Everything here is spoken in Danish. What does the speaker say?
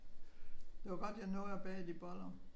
Det var godt jeg nåede at bage de boller